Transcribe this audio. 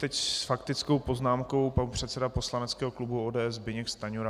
Teď s faktickou poznámkou pan předseda poslaneckého klubu ODS Zbyněk Stanjura.